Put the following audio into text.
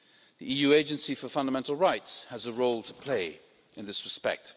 The EU Agency for Fundamental Rights has a role to play in this respect.